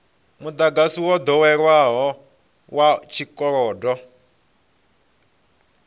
mudagasi wo doweleaho wa tshikolodo